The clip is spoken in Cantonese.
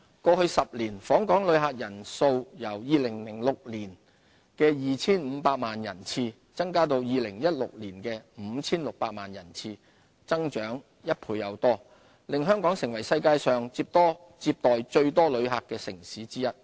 過去10年，訪港旅客人數由2006年的 2,500 萬人次，增加至2016年的 5,600 萬人次，增長一倍多，令香港成為世界上接待最多旅客的城市之一。